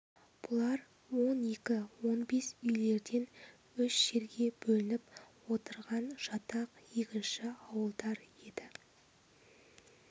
бұлар он екі он бес үйлерден үш жерге бөлініп отырған жатақ егінші ауылдар еді